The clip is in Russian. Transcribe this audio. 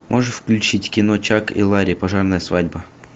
можешь включить кино чак и лари пожарная свадьба